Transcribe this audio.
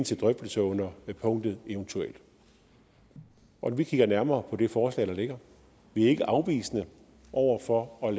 til drøftelse under punktet evt vi kigger nærmere på det forslag der ligger vi er ikke afvisende over for at